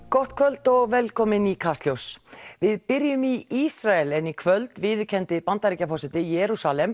gott kvöld og velkomin í Kastljós við byrjum í Ísrael en í kvöld viðurkenndi Bandaríkjaforseti Jerúsalem